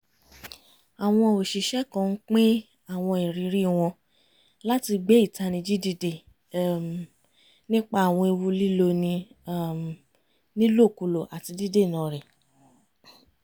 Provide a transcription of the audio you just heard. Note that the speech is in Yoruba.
àwọn òṣìṣẹ́ kan ń pín àwọn ìrírí wọn láti gbé ìtanijí dìde um nípa àwọn ewu líloni um nílòkulò àti dídènà rẹ̀